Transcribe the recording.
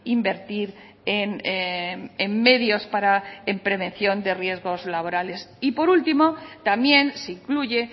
invertir en medios para en prevención de riesgos laborales y por último también se incluye